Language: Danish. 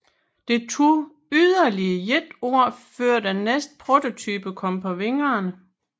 Det tog yderligere et år før den næste prototype kom på vingerne